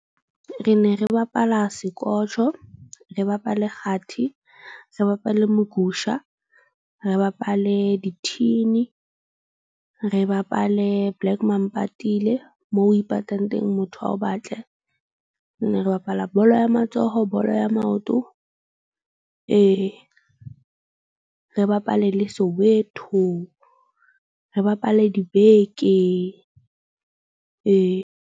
Re ne re bapala sekotjho, re bapale kgathi, re bapale mogusha, re bapale di-thin-i, re bapale black mampatile. Moo o ipatang teng motho a o batle. Ne re bapala bolo ya matsoho. Bolo ya maoto ee, re bapale le Soweto, re bapale dibeke ee.